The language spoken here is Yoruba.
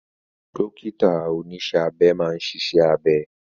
Dókítà oníṣẹ́ abẹ máa ń ṣiṣẹ́ abẹ